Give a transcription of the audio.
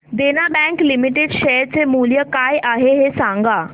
देना bank limited share चे मूल्य काय आहे हे सांगा